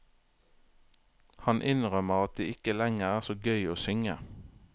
Han innrømmer at det ikke lenger er så gøy å synge.